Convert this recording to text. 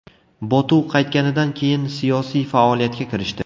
Botu qaytganidan keyin siyosiy faoliyatga kirishdi.